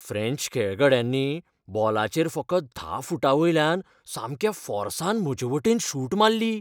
French खेळगड्यांनी बॉलाचेर फकत धा फूटांवयल्यान सामक्या फोर्सान म्हजेवटेन शूट मारली.